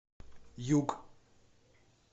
юг